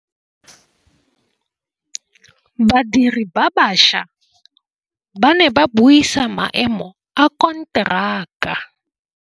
Badiri ba baša ba ne ba buisa maêmô a konteraka.